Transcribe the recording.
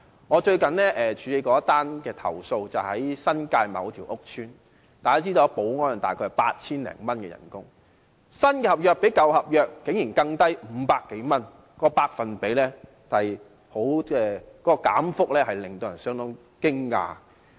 我最近處理的一宗投訴是關於新界某個屋邨，大家知道保安員的月薪大約是 8,000 多元，但新合約提出的薪酬竟然較舊合約低500多元，當中的減幅令人相當驚訝。